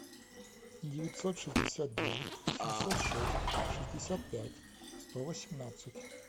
девятьсот шестьдесят девять семьсот шесть шестьдесят пять сто восемнадцать